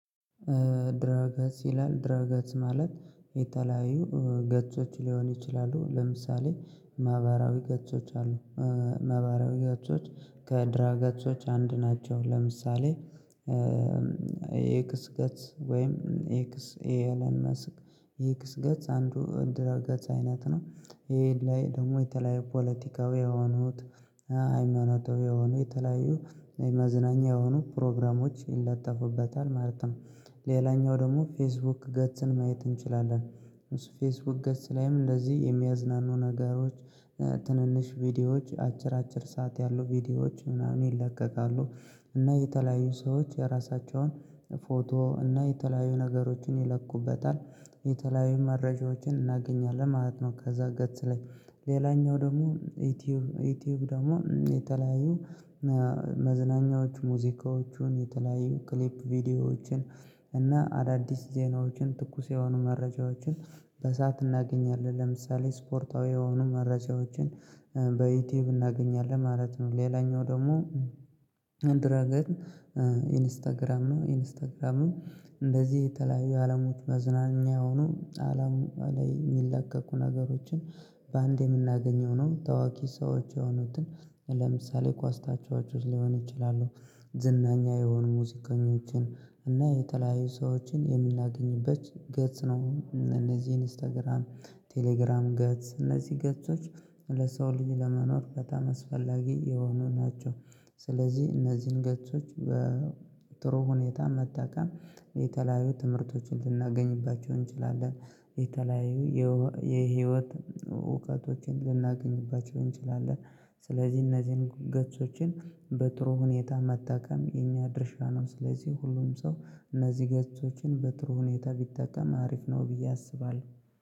ድረገጽ ይላል ድረገጽ ማለት የተለያዩ ገጾች ሊሆን ይችላሉ ለምሳሌ ማህበራዊ ገጾች አሉ። ማህበራዊ ገጾች ከድረ ገጾች አንድ ናቸው። ለምሳሌ የኤክስ ገጽ ወይም ኤክስ ኤለን መስክ የኤክስ ገጽ አንዱ ድረ ገጽ አይነት ነው። ይሄ ላይ ደግሞ የተለያዩ ፖለቲካዊ የሆኑት ሃይማኖታዊ የሆኑ የተለያዩ የመዝናኛ የሆኑ ፕሮግራሞች ይለጥፉበታል ማለት ነው። ሌላኛው ደግሞ ፌስቡክ ገጽን ማየት እንችላለን። ፌስቡክ ገጽ ላይም እንደዚህ የሚያዝናኑ ነገሮች ትንንሽ ቪዲዮዎች አጭር አጭር ሰዓት ያሉ ቪዲዮዎች ምናምን ይለቀቃሉ። እና የተለያዩ ሰዎች የራሳቸውን ፎቶ እና የተለያዩ ነገሮችን ይለቁበታል። የተለያዩ መረጃዎችን እናገኛለን ማለት ነው። ከዛ ገጽ ላይ ሌላኛው ደግሞ ዩቲዩብ። ዩቲዩብ ደግሞ የተለያዩ መዝናኛዎቹ ሙዚቃዎቹን የተለያዩ ክሊፕ ቪዲዮዎችን እና አዳዲስ ዜናዎችን ትኩስ የሆኑ መረጃዎችን በሰአት እናገኛለን ለምሳሌ ስፖርታዊ የሆኑ መረጃዎችን በዩቲዩብ እናገኛለን ማለት ነው። ሌላኛው ደግሞ ድረ ገጽ ኢንስታግራም ነው። ኢንስታግራሙ እንደዚህ የተለያዩ አለሞች መዝናኛ የሆኑ አለም ላይ የሚለቀቁ ነገሮችን በአንዴ የምናገኘው ነው። ታዋቂ ሰዎች የሆኑትን ለምሳሌ ኳስ ታጨዋቾች ሊሆኑ ይችላሉ ዝነኛ የሆኑ ሙዚቀኞችን እና የተለያዩ ሰዎችን የምናገኝበት ገጽ ነው። እነዚህ ኢንስታግራም ቴሌግራም ገጽ እነዚህ ገጾች ለሰው ልጅ ለመኖር በጣም አስፈላጊ የሆኑ ናቸው። ስለዚህ እነዚህን ገጾች በጥሩ ሁኔታ መጠቀም የተለያዩ ትምህርቶችን ልናገኝባቸው እንችላለን። የተለያዩ የህይወት እውቀቶችን ልናገኝባቸው እንችላለን። ስለዚህ እነዚህን ገጾችን በጥሩ ሁኔታ መጠቀም የኛ ድርሻ ነው። ስለዚህ ሁሉም ሰው እነዚህ ገጾችን በጥሩ ሁኔታ ቢጠቀም አሪፍ ነው ብዬ አስባለሁ።